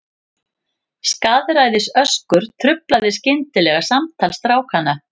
Skaðræðisöskur truflaði skyndilega samtal strákanna.